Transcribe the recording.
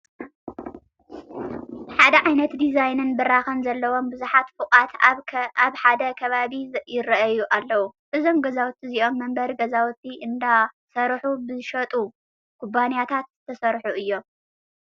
ሓደ ዓይነት ዲዛይንን ብራኸን ዘለዎም ብዙሓት ፎቋት ኣብ ሓደ ከባቢ ይርአዩ ኣለዉ፡፡ እዞም ገዛውቲ እዚኦም መንበሪ ገዛውቲ እንዳሰርሑ ብዝሸጡ ኩባንያታት ዝተሰርሑ እዮም፡፡